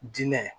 Diinɛ